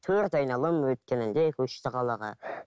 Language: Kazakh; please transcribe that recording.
төрт айналым өткенінде көшті қалаға